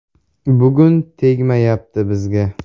Bugun tegmayapti bizga.